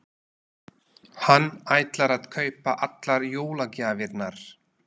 Hann ætlar að kaupa allar jólagjafirnar.